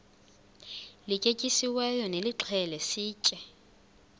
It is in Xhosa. lityetyisiweyo nilixhele sitye